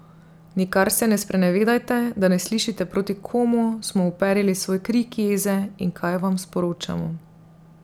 Nikar se ne sprenevedajte, da ne slišite proti komu smo uperili svoj krik jeze, in kaj vam sporočamo.